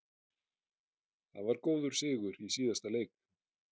Það var góður sigur í síðasta leik.